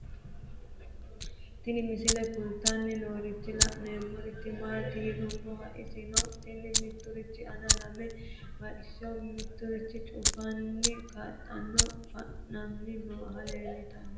Tinni misile kulittanni noorrinna la'nanniri maattiya yinummoro isittoffe mittu midichi aanna lame mixashsho noottinna cuffanni kidaanni fa'namme noohu leelanno yaatte